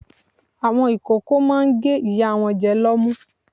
Àwọn ìkókó máa ń gé ìyá wọn jẹ lọ́mú.